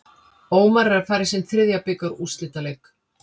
Ómar er að fara í sinn þriðja bikarúrslitaleik.